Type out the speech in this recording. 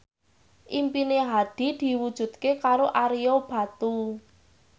impine Hadi diwujudke karo Ario Batu